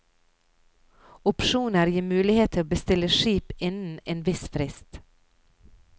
Opsjoner gir mulighet til å bestille skip innen en viss frist.